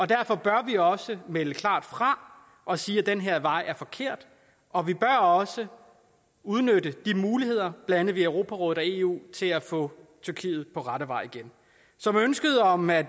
derfor bør vi også melde klart fra og sige at den her vej er forkert og vi bør også udnytte de muligheder der andet i europarådet og eu til at få tyrkiet på rette vej igen så med ønsket om at